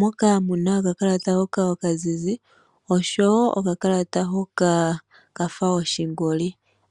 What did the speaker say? moka muna oka kalata hoka okazizi, osho wo okakalata hoka kafa oshingoli,